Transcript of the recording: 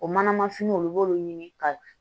O manama finiw olu b'olu ɲini ka